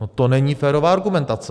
- No to není férová argumentace.